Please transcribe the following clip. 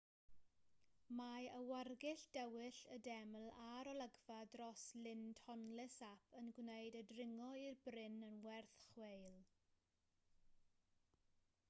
mae awyrgylch dywyll y deml a'r olygfa dros lyn tonle sap yn gwneud y dringo i'r bryn yn werth chweil